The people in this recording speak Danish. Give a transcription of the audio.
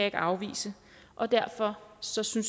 ikke afvise og derfor synes jeg